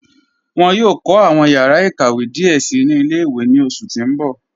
Wọn yòò kọ awọn yàrà ịkàwé díẹ sí ni ilẹ̀-ìwé ní oṣù tí n bọ̀.